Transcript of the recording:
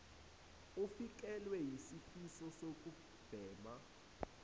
ufikelwa yisifiso sokubhema